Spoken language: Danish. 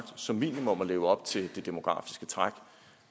som minimum at leve op til det demografiske træk